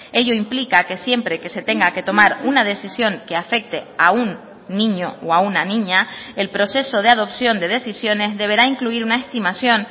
ello implica que siempre que se tenga que tomar una decisión que afecte a un niño o a una niña el proceso de adopción de decisiones deberá incluir una estimación